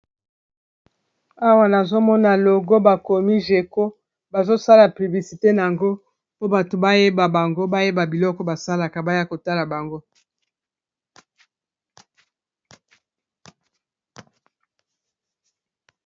Awa nazomona logo bakomi jeco bazosala piblisite na yango po bato bayeba bango bayeba biloko basalaka baya kotala bango!